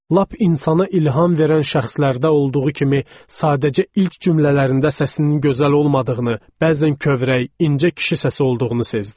Lap insana ilham verən şəxslərdə olduğu kimi, sadəcə ilk cümlələrində səsinin gözəl olmadığını, bəzən kövrək, incə kişi səsi olduğunu sezdim.